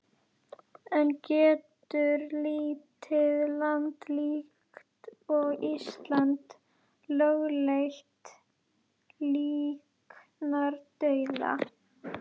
En getur lítið land líkt og Ísland lögleitt líknardauða?